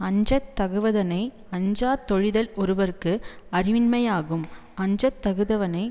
அஞ்ச தகுவதனை அஞ்சாதொழிதல் ஒருவர்க்கு அறிவின்மையாகும் அஞ்சத்தகுவதனை